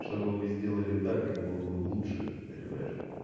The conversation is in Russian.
чтобы мы сделали так как было бы лучше понимаешь